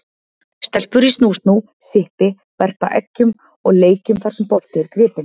Stelpur í snú-snú, sippi, verpa eggjum og leikjum þar sem bolti er gripinn.